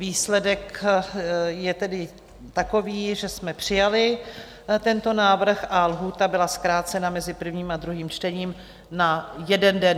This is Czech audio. Výsledek je tedy takový, že jsme přijali tento návrh a lhůta byla zkrácena mezi prvním a druhým čtením na jeden den.